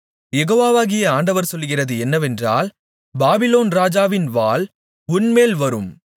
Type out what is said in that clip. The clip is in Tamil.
யெகோவாகிய ஆண்டவர் சொல்லுகிறது என்னவென்றால் பாபிலோன் ராஜாவின் வாள் உன்மேல் வரும்